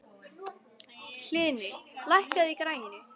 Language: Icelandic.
Hlini, lækkaðu í græjunum.